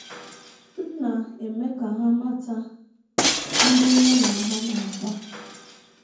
M na - eme ka ha mata ndị mụ na ha na - akpa.